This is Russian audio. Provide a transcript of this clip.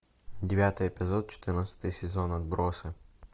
девятый эпизод четырнадцатый сезон отбросы